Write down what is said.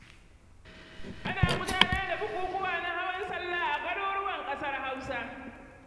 Ana gudanar da bukukuwa na hawan salla a garuruwan ƙasar Hausa.